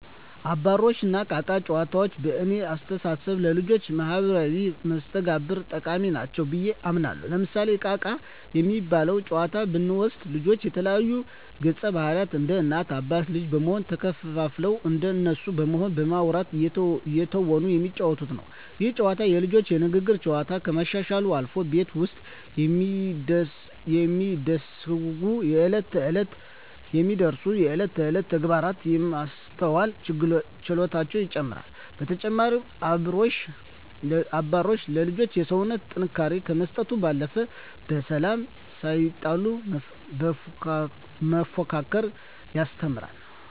አባሮሽ እና እቃ እቃ ጨዋታዎች በእኔ አስተሳሰብ ለልጆች ማህበራዊ መስተጋብር ጠቃሚ ናቸው ብየ አምናለሁ። ለምሳሌ እቃ እቃ የሚባለውን ጨዋታ ብንወስድ ልጆች የተለያዩ ገፀባህርይ እንደ እናት አባት ልጅ በመሆን ተከፋፍለው እንደነሱ በመሆን በማዉራት እየተወኑ የሚጫወቱት ነው። ይህ ጨዋታ የልጆቹን የንግግር ችሎታ ከማሻሻልም አልፎ ቤት ውስጥ የሚደሰጉ የእለት ተእለት ተግባራትን የማስተዋል ችሎታቸውን ይጨመራል። በተጨማሪም አባሮሽ ለልጆች የሰውነት ጥንካሬ ከመስጠት ባለፈ በሰላም ሳይጣሉ መፎካከርን ያስተምራል።